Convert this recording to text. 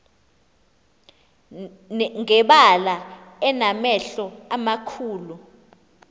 ngebala enamehlo amakhulu